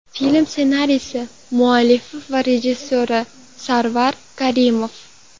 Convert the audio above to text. Film ssenariysi muallifi va rejissyori – Sarvar Karimov.